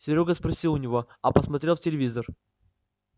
серёга спросил у него а посмотрел в телевизор